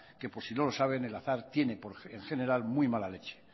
que por si no lo saben el azar tiene en general muy mala leche